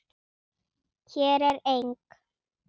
Hér er eng